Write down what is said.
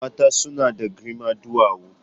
Mata suna da girma duwawu.